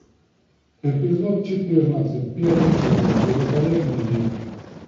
эпизод четырнадцать первый сезон великолепный век